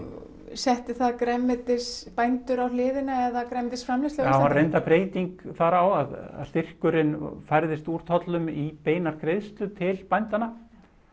setti það grænmetisbændur á hliðina eða grænmetisframleiðslu á var reyndar breyting þar á að styrkurinn færðist úr tollum í beinar greiðslur til bændanna